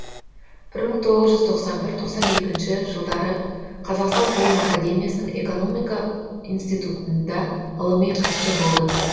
бір мың тоғыз жүз тоқсан бірінші тоқсан екінші жылдары қазақстан ғылым академиясының экономика институтында ғылыми хатшы болды